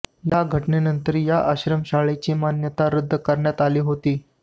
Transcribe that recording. या घटनेनंतर या आश्रमशाळेची मान्यता रद्द करण्यात आली होती